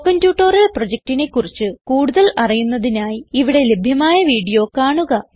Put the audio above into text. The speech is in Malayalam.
സ്പോകെൻ ട്യൂട്ടോറിയൽ പ്രൊജക്റ്റിനെ കുറിച്ച് കൂടുതൽ അറിയുന്നതിനായി ഇവിടെ ലഭ്യമായ വീഡിയോ കാണുക